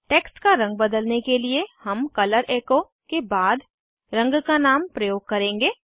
text का रंग बदलने के लिए हम कलर एचो के बाद रंग का नाम प्रयोग करेंगे